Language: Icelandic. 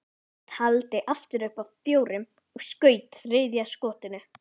Hann taldi aftur upp að fjórum og skaut þriðja skotinu.